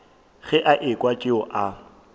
ge a ekwa tšeo a